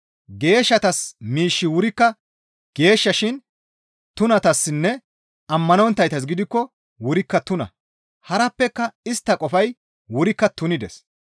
Geeshshatas miishshi wurikka geeshsha shin tunatassinne ammanonttaytas gidikko wurikka tuna; harappeka istta qofay wurikka tunides.